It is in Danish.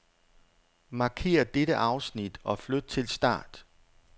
Markér dette afsnit og flyt til start.